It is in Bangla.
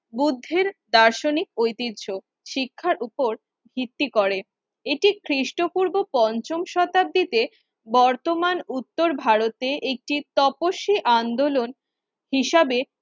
বুদ্ধির দার্শনিক ঐতিহ্য শিক্ষার উপর ভিত্তি করে। এটি খ্রিস্টপূর্ব পঞ্চম শতাব্দীতে বর্তমান উত্তর ভারতে একটি তপস্যি আন্দোলন হিসাবে